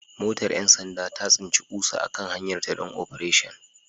Motar 'yan sanda ta tsinci ƙusa a kan hanyarta don Operation